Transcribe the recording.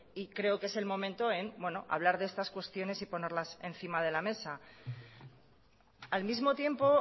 y creo que es el momento de hablar de estas cuestiones y ponerlas encima de la mesa al mismo tiempo